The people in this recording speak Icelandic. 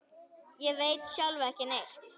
Ég veit sjálf ekki neitt.